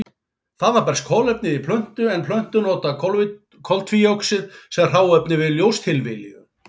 Þaðan berst kolefnið í plöntu en plöntur nota koltvíoxíð sem hráefni við ljóstillífun.